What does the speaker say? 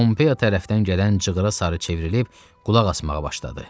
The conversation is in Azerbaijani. Pompey tərəfdən gələn cığırı sarı çevrilib qulaq asmağa başladı.